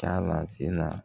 Ka lase na